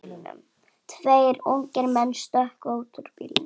Tveir ungir menn stökkva út úr bílnum.